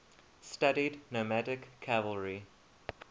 studied nomadic cavalry